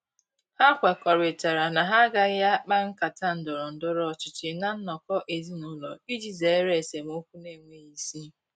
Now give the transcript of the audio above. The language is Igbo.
Ha kwekọrịtara na ha agaghị akpa nkata ndọrọ ndọrọ ọchịchị ná nnọkọ ezinụlọ iji zere esemokwu na-enweghi isi.